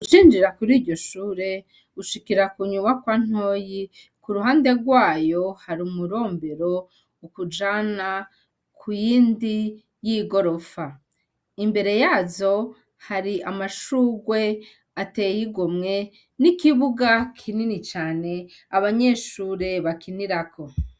Ucinjira kuri iryo shure, ushikira ku nyubakwa ntoyi, k'uruhande rwayo, hari umurombero ukujana ku yindi y'igorofa, imbere yazo hari amashugwe ateye igomwe n'ikibuga kinini cane abanyeshure bakinirako.